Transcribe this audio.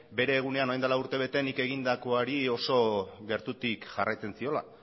bere egunean orain dela urtebete nik egindakoari oso gertutik jarraitzen ziola